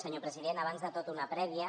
senyor president abans de tot una prèvia